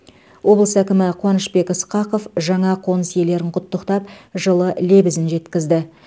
облыс әкімі қуанышбек ысқақов жаңа қоныс иелерін құттықтап жылы лебізін жеткізді